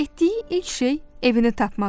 Etdiyi ilk şey evini tapmaq idi.